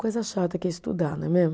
Coisa chata que é estudar, não é mesmo?